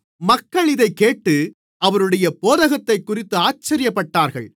மக்கள் இதைக்கேட்டு அவருடைய போதகத்தைக்குறித்து ஆச்சரியப்பட்டார்கள்